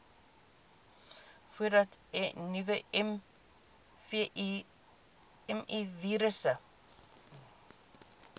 voordat nuwe mivirusse